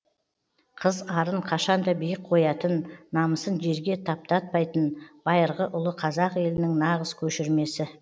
қыз арын қашан да биік қоятын намысын жерге таптатпайтын байырғы ұлы қазақ елінің нағыз көшірмесі